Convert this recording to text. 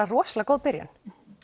rosalega góð byrjun